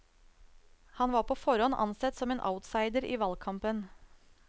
Han var på forhånd ansett som en outsider i valgkampen.